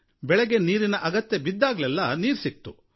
ಬೆಳೆಗೆ ನೀರಿನ ಅಗತ್ಯ ಬಿದ್ದಾಗಲೆಲ್ಲಾ ನೀರು ಸಿಕ್ತು